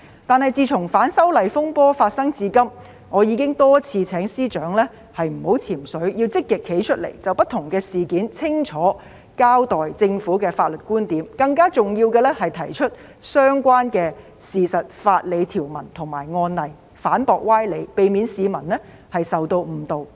但是，自從反修例風波發生至今，我已經多次請司長不要"潛水"，要積極站出來，就不同事件清楚交代政府的法律觀點，更重要的是提出相關的事實、法理條文及案例，反駁歪理，避免市民受到誤導。